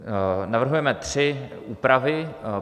Navrhujeme tři úpravy.